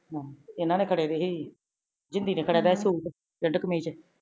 ਹਮ ਏਨਾ ਨੇ ਫੜੇ ਸੀ ਜੀ ਜਿਨਦੀ ਦੇ ਫੜਇਆ ਗਇਆ ਸੁਟ ਸ਼ਿਰਤ ਕਮੀਜ ਚ